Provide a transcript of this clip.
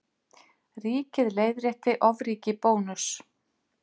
Ríkið leiðrétti ofríki Bónuss